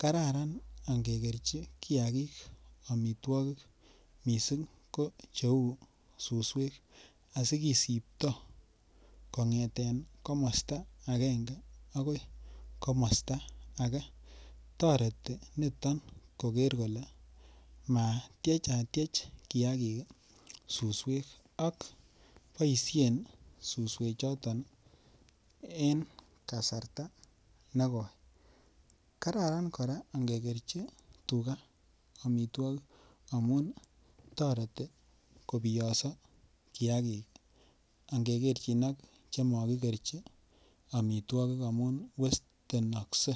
kararan angekerchi kiagik amitwogik mising ko cheu suswek asi kisiptoi kongeten komosta agenge agoi komosta age toreti niton koker kole matyechatyech tuga suswek ak boisien suswechoton en kasarta negoi kararan kora angekerchi tuga amitwogik amun toreti kobiyoso kiagik angekerchin ak chemo ki kerchi amitwogik amun westenokse